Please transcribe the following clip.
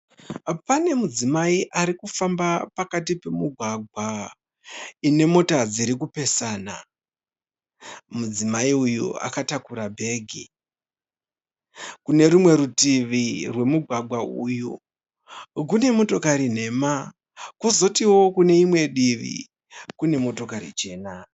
Pane mudzimai ari ufamba pakati pemugwagwa ine mota dziri kupesana, mudzimai uyu akatakura bhegi. Kune rwumwe rutivi rwemugwagwa uyu kune motokari nhema, kozotiwo kune rimwe divi kune motokari chena.